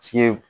Sige